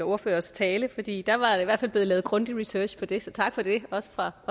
ordførers tale fordi der var i hvert fald blevet lavet grundig research på det så tak for det også fra